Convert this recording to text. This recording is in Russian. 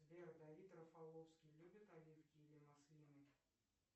сбер давид рафаловский любит оливки или маслины